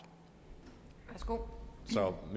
gå